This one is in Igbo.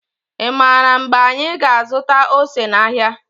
i maara mgbe anyị ga azụta ose n' áhiá.